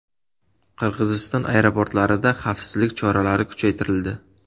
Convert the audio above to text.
Qirg‘iziston aeroportlarida xavfsizlik choralari kuchaytirildi.